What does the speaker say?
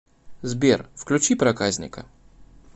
сбер включи проказника